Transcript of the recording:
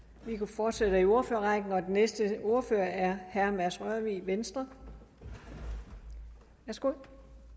vi fortsætter i ordførerrækken og den næste ordfører er herre mads rørvig venstre værsgo